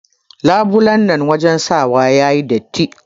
Labulai na wajen shawa yayi datti.